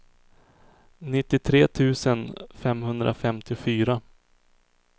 nittiotre tusen femhundrafemtiofyra